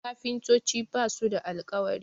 kafintoci ba su da alkawari